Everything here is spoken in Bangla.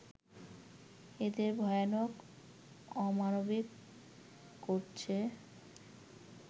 এদের ভয়ানক অমানবিক করছে